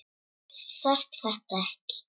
Þú þarft þess ekki.